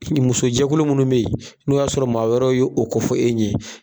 muso jɛkulu munnu be ye, n'o y'a sɔrɔ maa wɛrɛw ye o kofɔ e ɲɛ